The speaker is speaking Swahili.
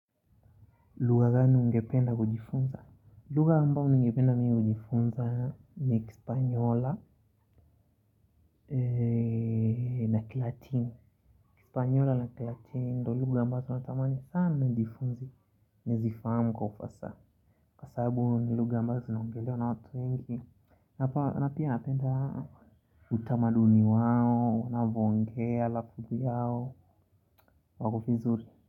Lugha gani ungependa kujifunza. Lugha ambayo ningependa mimi kujifunza ni kispanyola na kilatino. Kispanyola na kilatini ndiyo lugha ambazo natamani sana nijifunze. Nizifahamu kwa ufasaha. Kwa sababu ni lugha ambazo zinaongelewa na watu wengi. Na pia napenda utamaduni wao, wanavyongea lakabu yao, wako vizuri.